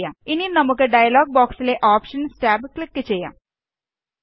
ഇനി നമുക്ക് ഡയലോഗ് ബോക്സിലെ ഓപ്ഷന്സ് ടാബ് ക്ലിക് ചെയ്യാം